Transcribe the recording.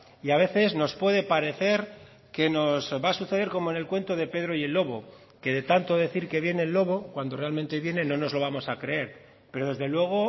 y a veces nos puede parecer que nos va a suceder como en el cuento de pedro y el lobo que de tanto decir que viene el lobo cuando realmente viene no nos lo vamos a creer pero desde luego